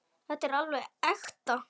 Þetta er alveg ekta.